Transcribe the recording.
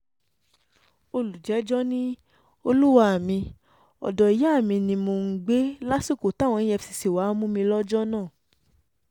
olùjẹ́jọ́ ni olúwa mi ọ̀dọ́ ìyá mi ni mò ń gbé lásìkò táwọn efcc wàá mú mi lọ́jọ́ náà